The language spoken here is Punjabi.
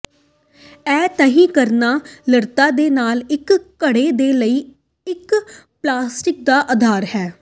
ਇਹ ਤਹਿ ਕਰਣਾ ਲਤ੍ਤਾ ਦੇ ਨਾਲ ਇੱਕ ਘੜੇ ਦੇ ਲਈ ਇੱਕ ਪਲਾਸਟਿਕ ਦਾ ਅਧਾਰ ਹੈ